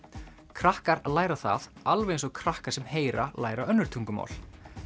krakkar læra það alveg eins og krakkar sem heyra læra önnur tungumál